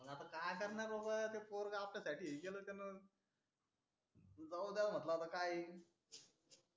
काय करणार बाबा ते पोरग आपल्या साठी हे केल त्यांन जाऊ द्याव म्हटल आता काय येईन